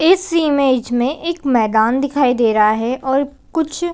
इस इमेज में एक मैदान दिखाई दे रहा है और कुछ--